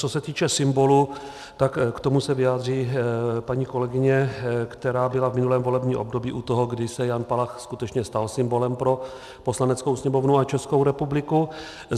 Co se týče symbolu, tak k tomu se vyjádří paní kolegyně, která byla v minulém volebním období u toho, kdy se Jan Palach skutečně stal symbolem pro Poslaneckou sněmovnu a Českou republiku.